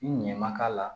I ɲɛ ma k'a la